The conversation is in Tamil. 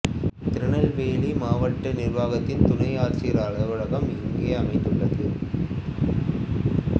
திருநெல்வேலி மாவட்ட நிர்வாகத்தின் துணை ஆட்சியர் அலுவலகம் இங்கே அமைந்துள்ளது